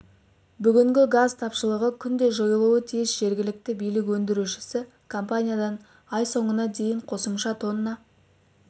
бүгінгі газ тапшылығы күнде жойылуы тиіс жергілікті билік өндіруші компаниядан ай соңына дейін қосымша тонна